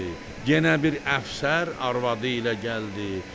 Yenə bir əfsər arvadı ilə gəldi.